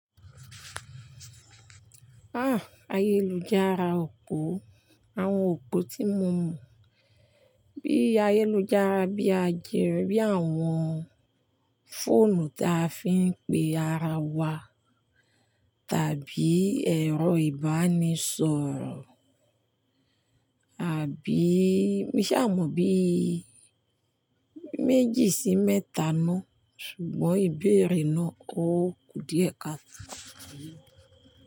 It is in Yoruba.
Ah! Ayélujára òpó, àwọn òpó tí mo mọ bíi ayélujára bíi ajẹ́rìí, bíi àwọn fóònù ta fi ń pe ara wa tàbí ẹ̀rọ ìbánisọ̀rọ̀, àbí mi sì á mọ bí méjì sí mẹ́ta ná. Ṣùgbọ́n ìbéèrè ná ò kú díẹ̀ ká.